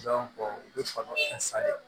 u bɛ falo fɛn san ye